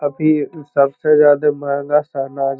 अभी सब से ज्यादा --